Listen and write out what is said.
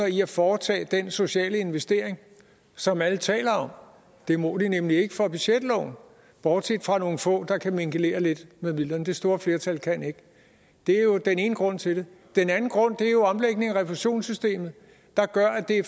i at foretage den sociale investering som alle taler om det må de nemlig ikke for budgetloven bortset fra nogle få der kan mingelere lidt med midlerne det store flertal kan ikke det er jo den ene grund til det den anden grund er jo omlægningen af refusionssystemet der gør at det